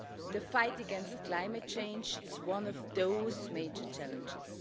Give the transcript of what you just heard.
The fight against climate change is one of those major challenges.